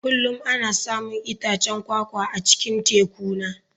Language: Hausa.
Kullum ana samun itacen kwakwa a cikin tekuna.